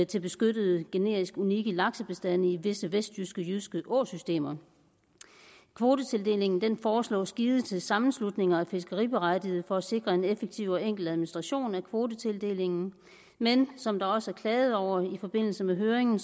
til beskyttede genetisk unikke laksebestande i visse vestjyske åsystemer kvotetildelingen foreslås givet til sammenslutninger af fiskeriberettigede for at sikre en effektiv og enkel administration af kvotetildelingen men som der også er klaget over i forbindelse med høringen